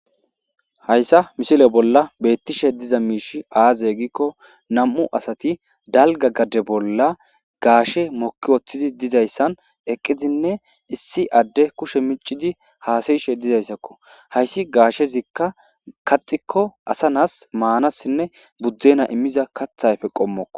Haysa misile bolla betishe diza mishi azee gikon nam'u asati dalga gade bolla gaashey moki uttidi dizaysa issi addey kushe micidi hasayishe dizaysako haysi gaashezika kaaxiko asa na'ay maanasinne budenay immiza kaatha qommoko.